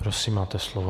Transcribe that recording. Prosím, máte slovo.